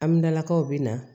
Aminakaw bɛ na